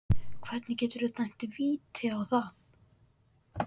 Hvernig geturðu dæmt víti á það?